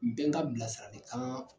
N bɛ n ka bilasiralikan